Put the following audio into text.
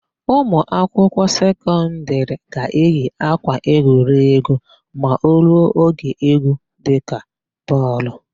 Ụmụakwụkwọ sekọndịrị ga-eyi ákwà egwuregwu ma o ruo oge égwú dịka bọọlụ.